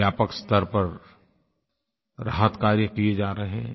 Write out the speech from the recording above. व्यापक स्तर पर राहत कार्य किए जा रहे हैं